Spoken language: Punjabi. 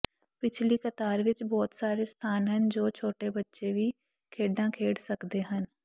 ਪਿਛਲੀ ਕਤਾਰ ਵਿਚ ਬਹੁਤ ਸਾਰੇ ਸਥਾਨ ਹਨ ਜੋ ਛੋਟੇ ਬੱਚੇ ਵੀ ਖੇਡਾਂ ਖੇਡ ਸਕਦੇ ਹਨ